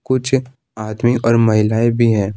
कुछ आदमी और महिलाएं भी है।